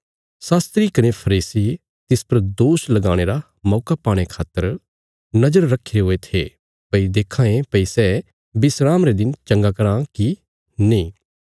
शास्त्री कने फरीसी तिस पर दोष लगाणे रा मौका पाणे खातर नजर रक्खीरे हुये थे भई देक्खां ये भई सै विस्राम रे दिन चंगा कराँ कि नीं